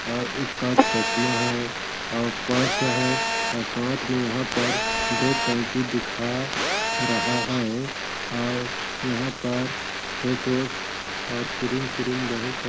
और उसका चश्मा है और पर्स है और साथ में यहाँ पर दो कैंची दिखा रहा हैं और यहाँ पर फेस वाश और क्रीम श्रीम बहुत सा।